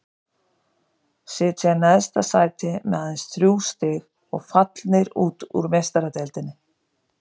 Sitja í neðsta sæti með aðeins þrjú stig og fallnir út úr Meistaradeildinni.